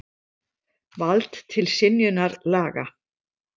Vald til synjunar laga.